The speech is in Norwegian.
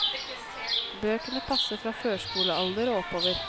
Bøkene passer fra førskolealder og oppover.